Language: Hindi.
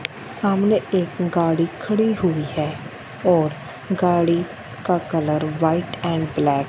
सामने एक गाड़ी खड़ी हुई है और गाड़ी का कलर व्हाइट एंड ब्लैक --